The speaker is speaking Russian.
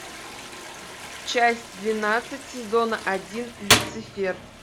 часть двенадцать сезона один люцифер